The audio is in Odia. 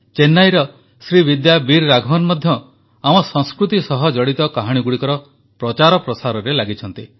ଚେନ୍ନାଇର ଶ୍ରୀବିଦ୍ୟା ବୀର ରାଘବନ୍ ମଧ୍ୟ ଆମ ସଂସ୍କୃତି ସହ ଜଡ଼ିତ କାହାଣୀଗୁଡ଼ିକର ପ୍ରଚାର ପ୍ରସାରରେ ଲାଗିଛନ୍ତି